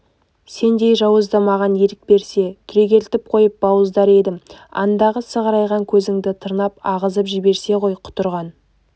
сендей жауызды маған ерік берсе түрегелтіп қойып бауыздар едім андағы сығырайған көзіңді тырнап ағызып жіберсе ғой құтырған